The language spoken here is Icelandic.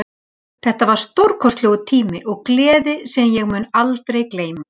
Þetta var stórkostlegur tími og gleði sem ég mun aldrei gleyma.